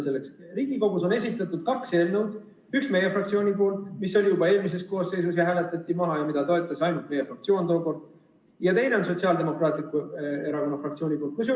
Riigikogule on esitatud kaks eelnõu: üks on meie fraktsioonilt, mis oli esitatud juba eelmises koosseisus, aga hääletati maha, seda toetas tookord ainult meie fraktsioon, ning teine on Sotsiaaldemokraatliku Erakonna fraktsiooni eelnõu.